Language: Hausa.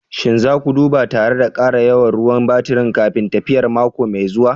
Shin za ku duba tare da ƙara yawan ruwan baturi kafin tafiyar mako mai zuwa?